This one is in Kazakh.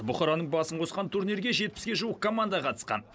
бұқараның басын қосқан турнирге жетпіске жуық команда қатысқан